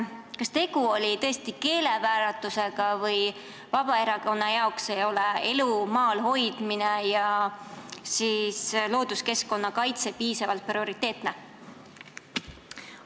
Kas tegu oli äkki keeleväärtusega või Vabaerakonna arvates ei ole maal elu hoidmine ja looduskeskkonna kaitse piisavalt prioriteetsed eesmärgid?